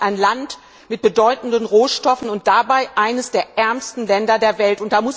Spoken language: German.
Mali ist ein Land mit bedeutenden Rohstoffen und dabei eines der ärmsten Länder der Welt.